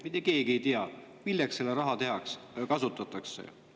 Mitte keegi ei tea, milleks seda raha kasutatakse.